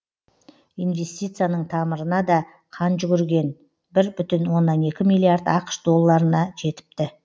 инвестицияның тамырына да қан жүгірген бір бүтін оннан екі миллиард ақш долларына жетіпті